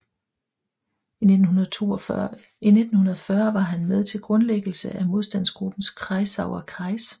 I 1940 var han med til grundlæggelse af modstandsgruppen Kreisauer Kreis